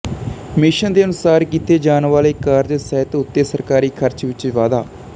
mission ਦੇ ਅਨੁਸਾਰ ਕੀਤੇ ਜਾਣ ਵਾਲੇ ਕਾਰਜ ਸਿਹਤ ਉੱਤੇ ਸਰਕਾਰੀ ਖਰਚ ਵਿੱਚ ਵਾਧਾ